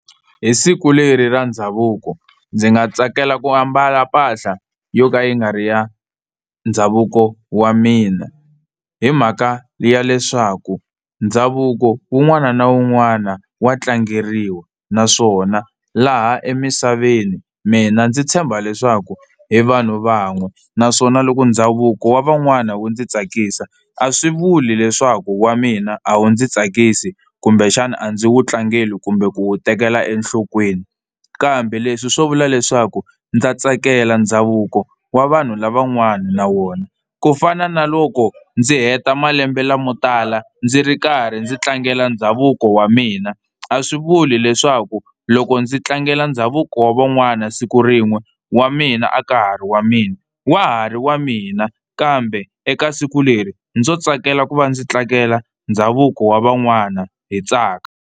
Hi siku leri ra ndhavuko ndzi nga tsakela ku ambala mpahla yo ka yi nga ri ya ndhavuko wa mina, hi mhaka ya leswaku ndhavuko wun'wana na wun'wana wa tlangeriwa naswona laha emisaveni mina ndzi tshemba leswaku hi vanhu van'we naswona loko ndhavuko wa van'wani wu ndzi tsakisa a swi vuli leswaku wa mina a wu ndzi tsakisi kumbexana a ndzi wu tlangeli kumbe ku wu tekela enhlokweni. Kambe leswi swo vula leswaku ndza tsakela ndhavuko wa vanhu lavan'wani na wona kufana na loko ndzi heta malembe lamotala ndzi ri karhi ndzi tlangela ndhavuko wa mina, a swi vuli leswaku loko ndzi tlangela ndhavuko wa van'wana siku rin'we wa mina a ka ha ri wa mina, wa ha ri wa mina kambe eka siku leri ndzo tsakela ku va ndzi tlangela ndhavuko wa van'wana hi tsaka.